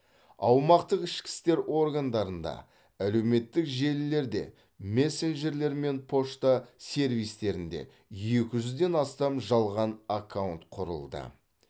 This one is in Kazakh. аумақтық ішкі істер органдарында әлеуметтік желілерде мессенджерлер мен пошта сервистерінде екі жүзден астам жалған аккаунт құрылды